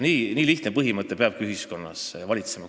Nii lihtne põhimõte peabki ühiskonnas valitsema.